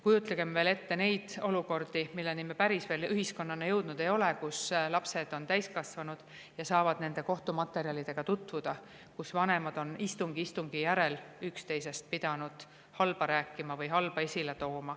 Kujutagem ette veel neid olukordi, milleni me ühiskonnana veel päris jõudnud ei ole, kus lapsed saavad täiskasvanuna nende kohtumaterjalidega tutvuda ja, et vanemad on istung istungi järel üksteisest halba rääkinud või halba esile toonud.